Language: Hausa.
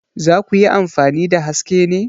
Za ku yi amfani da Haske ne?